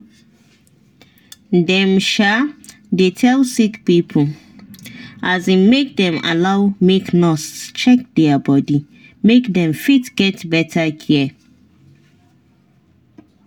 dem um dey tell sick pipo um make them allow make nurse check their body make them fit get better care.